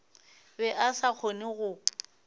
be a sa kgone go